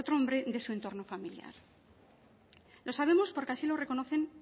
hombre de su entorno familiar lo sabemos porque así lo reconocen